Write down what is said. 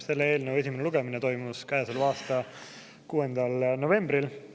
Selle eelnõu esimene lugemine toimus käesoleva aasta 6. novembril.